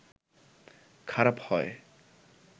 খারাপ হয়